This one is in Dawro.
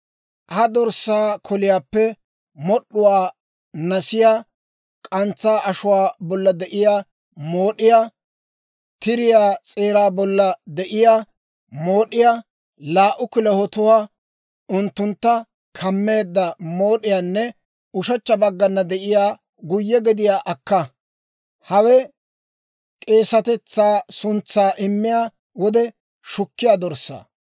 «Ha dorssaa koliyaappe mod'd'uwaa, nasiyaa, k'antsaa ashuwaa bolla de'iyaa mood'iyaa, tiriyaa s'eeraa bolla de'iyaa mood'iyaa, laa"u kilahotuwaa, unttuntta kammeedda mood'iyaanne ushechcha baggana de'iyaa guyye gediyaa akka; hawe k'eesatetsaa suntsaa immiyaa wode shukkiyaa dorssaa.